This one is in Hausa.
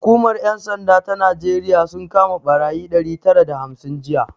Hukumar 'yan sanda ta Najeriya sun kama barayi ɗari tara da hamsin jiya